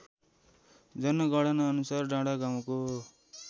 जनगणनाअनुसार डाँडागाउँको